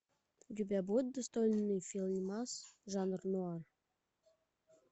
у тебя будет достойный фильмас жанра нуар